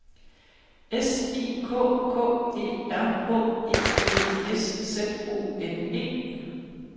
S I K K E R H E D S Z O N E